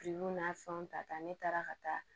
n'a fɛnw ta ne taara ka taa